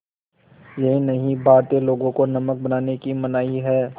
यही नहीं भारतीय लोगों को नमक बनाने की मनाही है